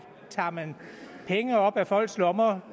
tager man penge op af folks lommer